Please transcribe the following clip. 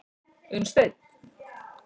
Unnsteinn